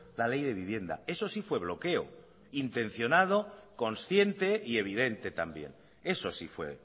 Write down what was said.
la ley de vivienda eso sí fue bloqueo intencionado consciente y evidente también eso sí fue